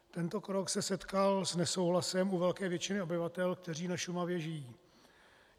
Tento krok se setkal s nesouhlasem u velké většiny obyvatel, kteří na Šumavě žijí.